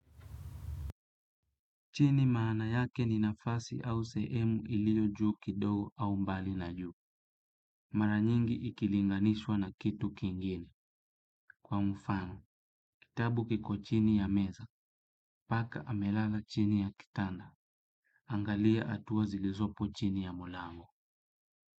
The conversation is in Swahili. Chini maana yake ni nafasi au sehemu iliyo juu kidogo au mbali na juu. Mara nyingi ikilinganishwa na kitu kingine. Kwa mfano, kitabu kiko chini ya meza, paka amelala chini ya kitanda. Angalia hatua zilizopo chini ya mlango.